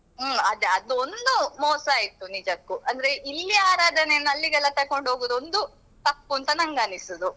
ಹ್ಮ್ ಅದೆ ಅದೊಂದು ಮೋಸ ಆಯ್ತು ನಿಜಕ್ಕೂ ಅಂದ್ರೆ ಇಲ್ಲಿಯ ಆರಾಧನೆಯನ್ನು ಅಲ್ಲಿಗೆಲ್ಲ ತೊಕೊಂಡೋಗುದು ಒಂದು ತಪ್ಪು ಅಂತ ನನ್ಗೆ ಅನಿಸುದು.